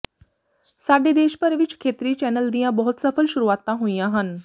ਸਾਡੇ ਦੇਸ਼ ਭਰ ਵਿੱਚ ਖੇਤਰੀ ਚੈਨਲ ਦੀਆਂ ਬਹੁਤ ਸਫਲ ਸ਼ੁਰੂਆਤਾਂ ਹੋਈਆਂ ਹਨ